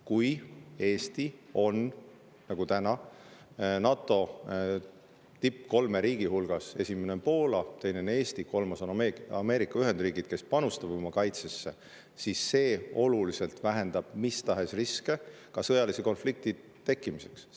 Kui Eesti on, nagu täna, NATO kolme tippriigi hulgas – esimene on Poola, teine on Eesti, kolmas on Ameerika Ühendriigid – panustamise poolest oma kaitsesse, siis see oluliselt vähendab ka mis tahes riske sõjalise konflikti tekkimiseks.